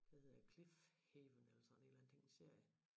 Den hedder cliff haven eller sådan et eller andet det en serie